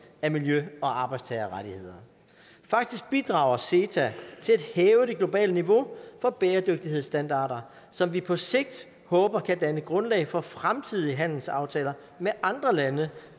af miljø og arbejdstagerrettigheder faktisk bidrager ceta til at hæve det globale niveau for bæredygtighedsstandarder som vi på sigt håber kan danne grundlag for fremtidige handelsaftaler med andre lande